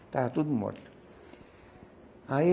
Estava tudo morto. Aí